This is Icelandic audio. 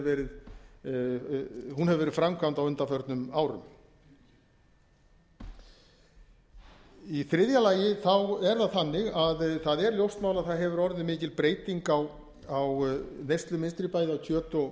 verið framkvæmd á undanförnum árum í þriðja lagi er það þannig að það er ljóst mál að það hefur orðið mikil breyting á neyslumynstri bæði á kjöti og